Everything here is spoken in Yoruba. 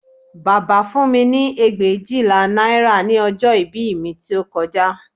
Bàbá fún mi ní ẹgbẹ̀éjìlá náírà ní ọjọ́ ìbí mi tí ó kọjá